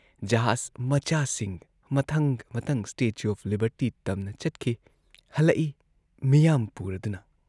ꯖꯍꯥꯖ ꯃꯆꯥꯁꯤꯡ ꯃꯊꯪ ꯃꯊꯪ ꯁ꯭ꯇꯦꯆꯨ ꯑꯣꯐ ꯂꯤꯕꯔꯇꯤ ꯇꯝꯅ ꯆꯠꯈꯤ, ꯍꯜꯂꯛꯏ ꯃꯤꯌꯥꯝ ꯄꯨꯔꯗꯨꯅ ꯫